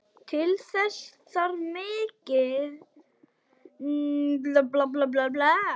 Til þess þarf mikinn kjark.